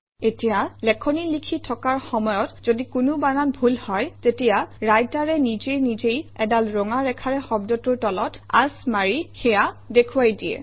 এতিয়া লেখনি লিখি থকাৰ সময়ত যদি কোনো বানান ভুল হয় তেতিয়া ৰাইটাৰে নিজে নিজেই এডাল ৰঙা ৰেখাৰে শব্দটোৰ তলত আঁচ মাৰি সেয়া দেখুৱাই দিয়ে